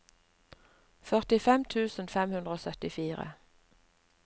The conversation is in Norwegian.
førtifem tusen fem hundre og syttifire